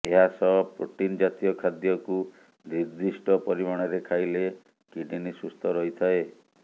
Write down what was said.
ଏହାସହ ପ୍ରୋଟିନ ଜାତୀୟ ଖାଦ୍ୟକୁ ନିର୍ଦ୍ଦିଷ୍ଟ ପରିମାଣରେ ଖାଇଲେ କିଡନୀ ସୁସ୍ଥ ରହିଥାଏ